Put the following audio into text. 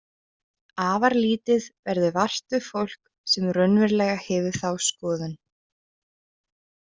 Afar lítið verður vart við fólk sem raunverulega hefur þá skoðun.